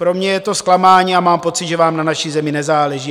Pro mě je to zklamání a mám pocit, že vám na naší zemi nezáleží.